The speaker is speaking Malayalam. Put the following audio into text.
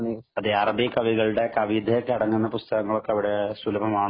അതെ അറബിക്കവികളുടെ കവിതയൊക്കെ അടങ്ങുന്ന പുസ്തകങ്ങൾ അവിടെ സുലഭമാണോ